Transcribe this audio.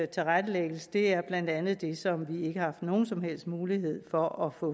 tilrettelægges er blandt andet det som vi ikke har haft nogen som helst mulighed for at få